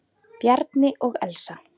Bjarni og Elsa.